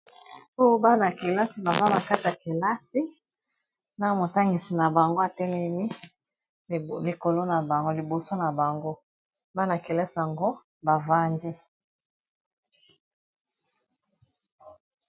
Po bana kelasi bazana kat akelasi na motangisi na bango atelemi likolo na bango, liboso na bango bana kelasi yango bavandi.